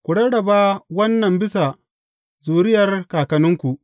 Ku rarraba wannan bisa zuriyar kakanninku.